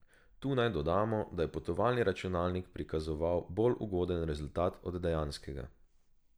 Tu naj dodamo, da je potovalni računalnik prikazoval bolj ugoden rezultat od dejanskega.